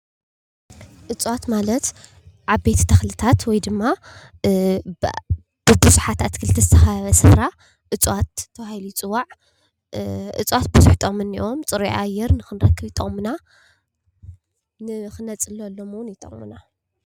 እፅዋት ማለት ዓበይቲ ተክሊታት ወይ ድማ ብቡዝሓት አትክልቲ ዝተከበበ ስፍራ እፅዋት ተባሂሉ ይፅዋዕ። እፅዋት ብዙሕ ጥቅሚ እኒአዎም ። ፅሩይ ኣየር ክንረክብ ይጠቅሙና ።ንክነፅለሎም እውን ይጠቅሙና።